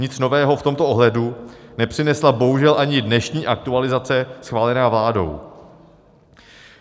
Nic nového v tomto ohledu nepřinesla bohužel ani dnešní aktualizace schválená vládou.